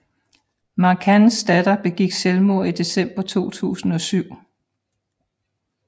McCanns datter begik selvmord i december 2007